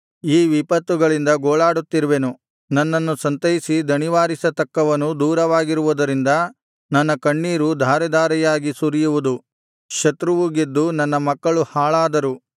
ಈ ವಿಪತ್ತುಗಳಿಂದ ಗೋಳಾಡುತ್ತಿರುವೆನು ನನ್ನನ್ನು ಸಂತೈಸಿ ದಣಿವಾರಿಸತಕ್ಕವನು ದೂರವಾಗಿರುವುದರಿಂದ ನನ್ನ ಕಣ್ಣೀರು ಧಾರೆಧಾರೆಯಾಗಿ ಸುರಿಯುವುದು ಶತ್ರುವು ಗೆದ್ದು ನನ್ನ ಮಕ್ಕಳು ಹಾಳಾದರು